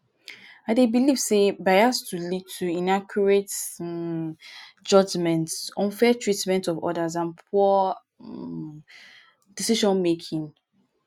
i dey believe say bias to lead to inaccurate um judgements unfair treatment of odas and poor um decision-making.